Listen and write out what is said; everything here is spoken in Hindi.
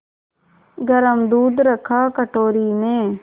गरम दूध रखा कटोरी में